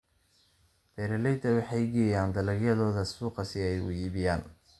Beeraleydu waxay geeyaan dalagyadooda suuqa si ay u iibgeeyaan.